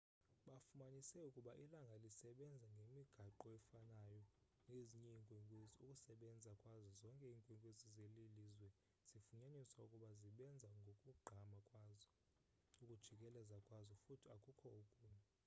bafumanise ukuba ilanga lisebenza ngemigaqo efanayo nezinye iinkwenkwezi ukusebenza kwazo zonke iinkwenkwezi zelilizwe zifunyaniswe ukuba zibenza ngokugqama kwazo ukujikeleza kwazo futhi akukho okunye